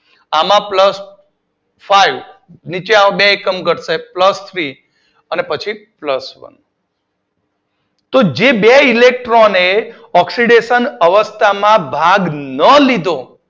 આમાં plus five નીચે આવો બે એકમ ઘટશે પ્લસ થ્રી પછી પ્લસ વન તો જે બે ઇલેક્ટરોને ઓક્સીડેશન અવસ્થામાં ભાગ ના લીધો